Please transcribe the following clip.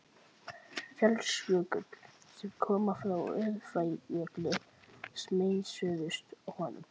Fjallsjökull, sem koma frá Öræfajökli, sameinuðust honum.